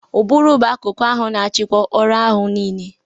Ụbụrụ bụ akụku ahụ na-achịkwa ọrụ anụ ahu niile.